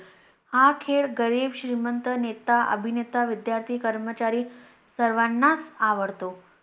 हा खेळ गरीब, श्रीमंत, नेता, अभिनेता, विद्यार्थी, कर्मचारी सर्वांनाच आवडतो.